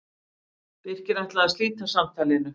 Birkir ætlaði að slíta samtalinu.